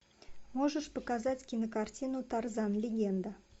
можешь показать кинокартину тарзан легенда